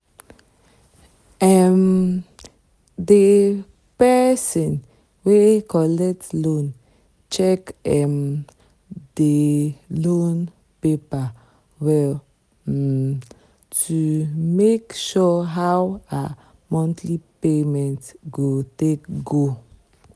um the person wey collect loan check um the loan paper well um to make sure how her monthly payment go take go.